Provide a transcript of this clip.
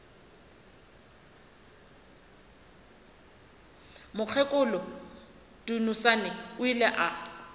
mokgekolo dunusani o ile a